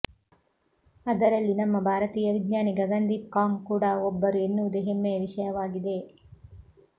ಅದರಲ್ಲಿ ನಮ್ಮ ಭಾರತೀಯ ವಿಜ್ಞಾನಿ ಗಗನ್ದೀಪ್ ಕಾಂಗ್ ಕೂಡ ಒಬ್ಬರು ಎನ್ನುವುದೆ ಹೆಮ್ಮೆಯ ವಿಷಯವಾಗಿದೆ